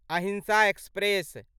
अहिंसा एक्सप्रेस